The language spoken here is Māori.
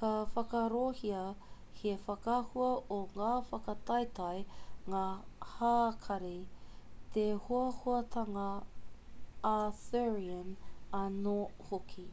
ka whakaarohia he whakaahua o ngā whakataetae ngā hākari te hoahoatanga arthurian anō hoki